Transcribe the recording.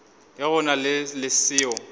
ge go na le seo